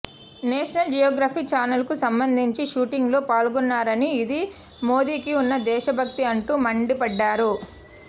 national geography channel కు సంబంధించి shooting లో పాల్గొన్నారని ఇదీ మోదీకి ఉన్న దేశభక్తి అంటూ మండిపడ్డారు